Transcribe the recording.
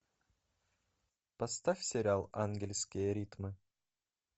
поставь сериал ангельские ритмы